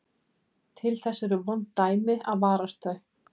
Til þess eru vond dæmi að varast þau.